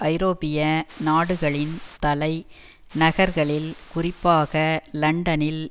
ஐரோப்பிய நாடுகளின் தலை நகர்களில் குறிப்பாக லண்டனில்